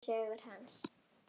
Ævisögu hans.